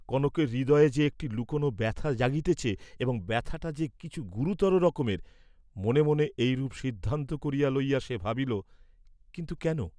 কনকের হৃদয় যে একটি লুকানো ব্যথা জাগিতেছে এবং ব্যথাটা যে কিছু গুরুতর রকমের, মনে মনে এইরূপ সিদ্ধান্ত করিয়া লইয়া সে ভাবিল কিন্তু কেন?